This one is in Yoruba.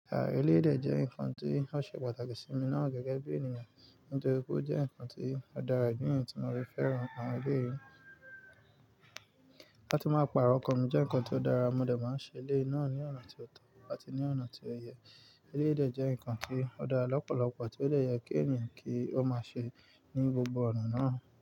Àh, eléyìí dẹ̀ jẹ́ nǹkan tí ó ṣe pàtàkì sí mi náà gẹ́gẹ́ bí ènìyàn. Nítorí pé ó jẹ́ nǹkan tí ó dára, ìdí nìyẹn tí mo rí fẹ́ràn àwọn ẹbí yìí. Láti máa pàrọ̀ ọkàn mi jẹ́ nǹkan tí ó dára. Mo dẹ̀ máa ń ṣe eléyìí náà ní ọ̀nà tí ó tọ́ àti ní ọ̀nà tí ó yẹ. Elédè jẹ́ nǹkan tí ó dára lọ́pọ̀lọpọ̀ tí ó lè yẹ kí ènìyàn kí ó máa ṣe ní gbogbo ọ̀nà náà.